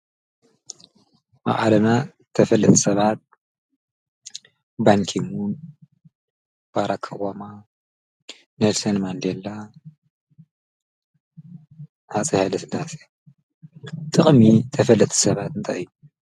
?!ኣዓለና ተፈለጥ ሰባት ባንኪምን ባራካዋማ ኔድሴን መንዴላ ሓፀሐለ ስዳሰ ጥቕሚ ተፈለት ሰባጥ እንታይ።